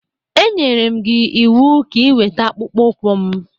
E nyere gị m iwu ka ị weta akpụkpọ ụkwụ m!